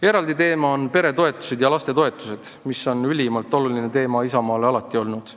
Eraldi teema on peretoetused ja lastetoetused, mis on Isamaale alati olnud ülimalt oluline teema.